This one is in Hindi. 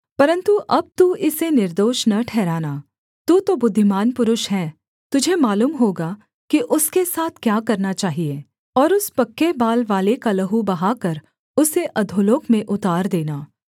परन्तु अब तू इसे निर्दोष न ठहराना तू तो बुद्धिमान पुरुष है तुझे मालूम होगा कि उसके साथ क्या करना चाहिये और उस पक्के बाल वाले का लहू बहाकर उसे अधोलोक में उतार देना